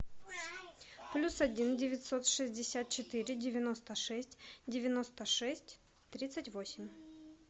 плюс один девятьсот шестьдесят четыре девяносто шесть девяносто шесть тридцать восемь